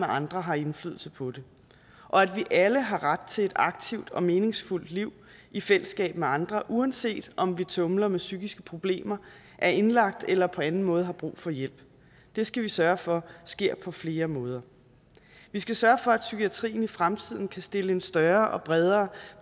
andre har indflydelse på det og at vi alle har ret til et aktivt og meningsfuldt liv i fællesskab med andre uanset om vi tumler med psykiske problemer er indlagt eller på anden måde har brug for hjælp det skal vi sørge for sker på flere måder vi skal sørge for at psykiatrien i fremtiden kan stille en større og bredere